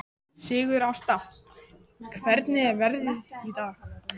Sigurásta, hvernig er veðrið í dag?